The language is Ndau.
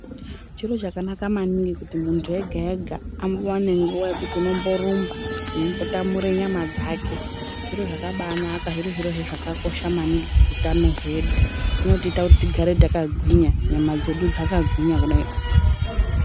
Chiiro chakanaka maningi kuti muntu ega ega awane nguwa yekuti uno mborumba weimbo tamura nyama dzake zviro zvakabanaka zviri zvirohe zvakakosha maningi pahutano hwedu zvinotiita kuti tigare takagwinya nyama dzedu dzakagwinya kudaio.